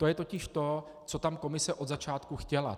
To je totiž to, co tam Komise od začátku chtěla.